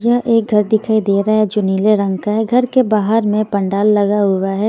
यह एक घर दिखाई दे रहा है जो नीले रंग का है घर के बाहर में पंडाल लगा हुआ है।